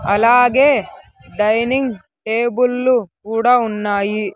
అలాగే డైనింగ్ టేబుల్లు కూడా ఉన్నాయి.